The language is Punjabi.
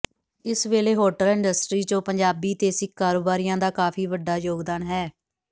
ਇਸ ਵੇਲੇ ਹੋਟਲ ਇੰਡਸਟਰੀ ਚ ਪੰਜਾਬੀ ਤੇ ਸਿੱਖ ਕਾਰੋਬਾਰੀਆਂ ਦਾ ਕਾਫੀ ਵੱਡਾ ਯੋਗਦਾਨ ਹੈ